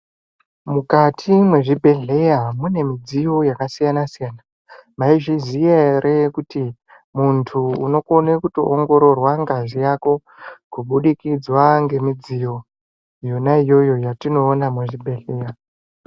Mukati mwezvibhehleya mune midziyo yakasiyanasiyana mwaizviziya ere kuti muntu unokone kutoongororwa ngazi yako kubudikidza ngemidziyo yona iyoyo yatioona muzvibhehlera.